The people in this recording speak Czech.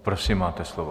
Prosím, máte slovo.